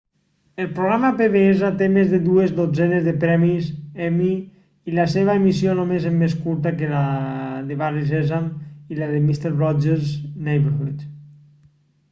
el programa pbs té més de dues dotzenes de premis emmy i la seva emissió només és més curta que la de barri sèsam i la de mister rogers' neighborhood